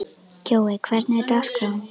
Kjói, hvernig er dagskráin?